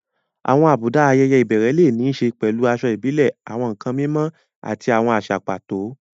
Àwọn àbùdá àwọn ayẹyẹ ìbẹ̀rẹ̀ lè ní í ṣe pẹ̀lú aṣọ ìbílẹ̀, àwọn nkan mímọ́, àti àwọn àṣà pàtó.